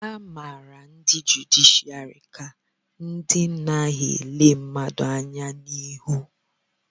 a mara ndị jụdịshịàrị ka ndị na-adịghị ele mmadụ anya n'ihu